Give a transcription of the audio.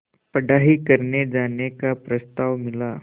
पढ़ाई करने जाने का प्रस्ताव मिला